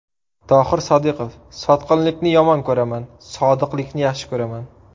Tohir Sodiqov: Sotqinlikni yomon ko‘raman, sodiqlikni yaxshi ko‘raman.